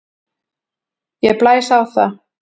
Ég blæs á það.